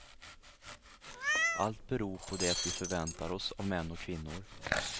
Allt beror på det vi förväntar oss av män och kvinnor.